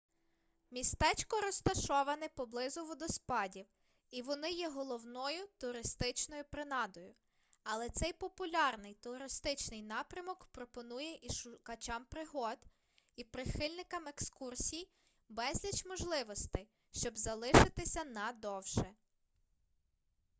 містечко розташоване поблизу водоспадів і вони є головною туристичною принадою але цей популярний туристичний напрямок пропонує і шукачам пригод і прихильникам екскурсій безліч можливостей щоб залишитися на довше